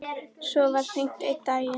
Svo var hringt einn daginn.